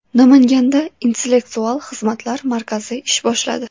Namanganda Intellektual xizmatlar markazi ish boshladi.